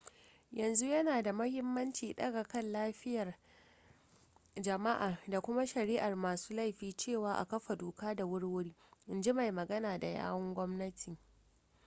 yanzu yana da mahimmanci daga kan 'yan lafiyar jama'a da kuma shari'ar masu laifi cewa a kafa doka da wuri-wuri in ji mai magana da yawun gwamnati